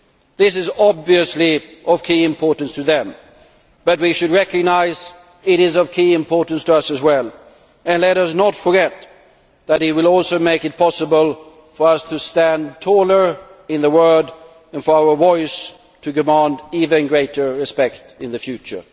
This is obviously of key importance to them, but we should recognise that it is of key importance to us as well, and let us not forget that it will also make it possible for us to stand taller in the world and for our voice to demand even greater respect in the future.